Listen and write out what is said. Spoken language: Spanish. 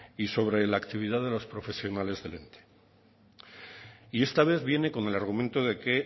y sobre la actividad de los profesionales del ente y esta vez viene con el argumento de que